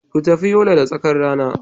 Ku tafi Yola da tsakar rana.